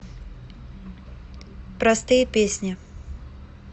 простые песни